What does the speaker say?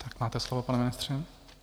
Tak máte slovo, pane ministře.